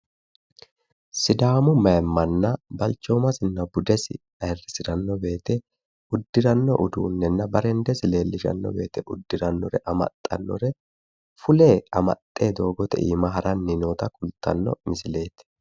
Sidaamu mayimmanna balchoomasinna budesi ayirrisiranno woyite uddiranno uduunnenna bareendesi leellishanno woyite uddirre amaxxannore fule amaxxe doogote aana haranni noota xawissanno misileeti.